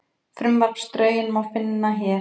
Frumvarpsdrögin má finna hér